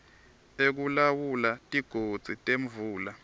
ekulawula tigodzi temvula